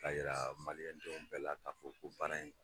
K'a jira maliɛndenw bɛɛ la k'a fɔ ko bana in